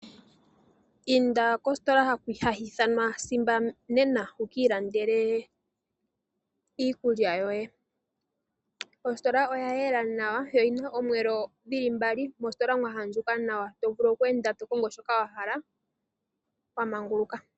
Inda kositola hayi ithanwa Simba nena, wu kiilandele iikulya yoye. Ositola oya yela nawa, yo oyina omiyelo mbali, mositola mwa adjuka nawa tovulu okukonga shoka wa hala wa manguluka.